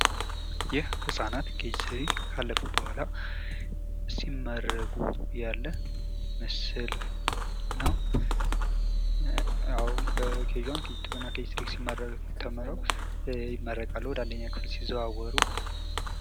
ይህ ህፃናት ኬጅ 3 ካለፉ መሁዋላ ሲመረቁ እሚያሳይ ምስል ነው ።